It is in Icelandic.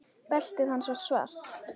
Beltið hans var svart.